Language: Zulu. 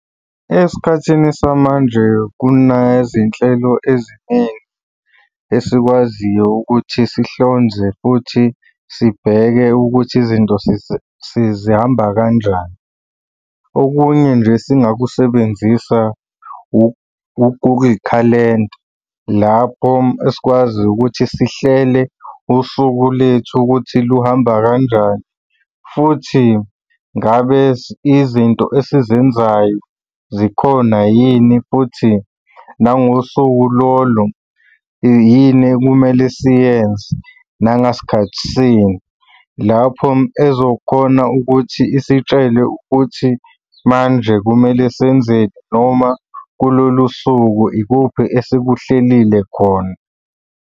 Esikhathini samanje kunezinhlelo eziningi esikwaziyo ukuthi sihlonze futhi sibheke ukuthi izinto zihamba kanjani. Okunye nje esingakusebenzisa okuyikhalenda, lapho esikwazi ukuthi sihlele usuku lethu ukuthi luhamba kanjani, futhi ngabe izinto esizenzayo zikhona yini futhi nangosuku lolo, yini okumele siyenze, nangasikhathi sini? Lapho ezokhona ukuthi isitshele ukuthi manje kumele senzeni noma kulolu suku ikuphi esikuhlelile khona.